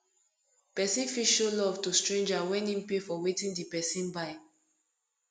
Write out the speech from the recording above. persin fit show love to stranger when im pay for wetin di person buy